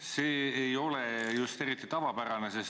See ei ole just tavapärane.